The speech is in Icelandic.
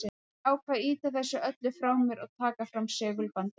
Ég ákvað að ýta þessu öllu frá mér og taka fram segulbandið.